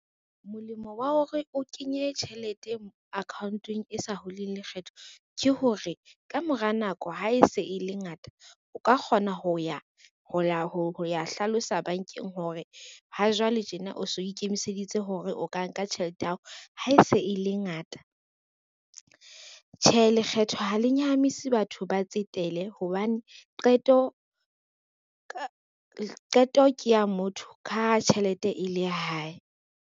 Molemo wa hore o kenye tjhelete account-ong e sa huling lekgetho. Ke hore ka mora nako ha e se e le ngata, o ka kgona ho ya hlalosa bank-eng hore ha jwale tjena o so ikemiseditse hore o ka nka tjhelete ya hao ha e se e le ngata. Tjhe, lekgetho ha le nyahamisi batho ba tsetele hobane qeto ke ya motho ka ha tjhelete e le ya hae.